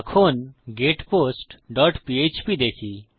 এখন getpost dot PHP দেখি